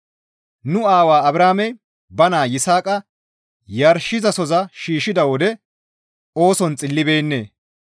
Nu aawaa Abrahaamey ba naa Yisaaqa yarshizasoza bolla shiishshida wode ooson xillibeennee?